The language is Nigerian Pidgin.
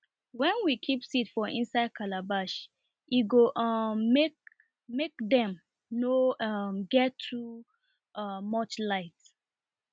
wen we keep seed for inside calabash e go um make make dem nor um get too um much light